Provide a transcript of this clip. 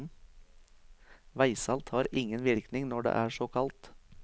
Veisalt har ingen virkning når det er så kaldt.